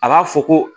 A b'a fɔ ko